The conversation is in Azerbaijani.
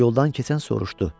Yoldan keçən soruşdu.